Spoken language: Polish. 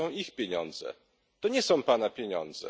To są ich pieniądze, to nie są Pana pieniądze.